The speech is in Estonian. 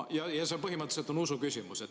Ja see on põhimõtteliselt usuküsimus.